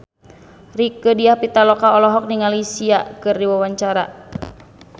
Rieke Diah Pitaloka olohok ningali Sia keur diwawancara